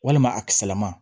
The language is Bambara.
Walima a kisɛlama